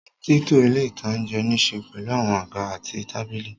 Títò ilé-ìtánjẹ nííse pẹ̀lú àwọn àga àti tábìlì